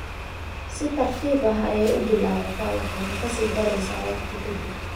Si tartiib ah ayey u bilaabataa waxayna ka sii daraysaa wakhti ka dib.